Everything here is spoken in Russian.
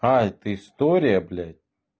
а это история блядь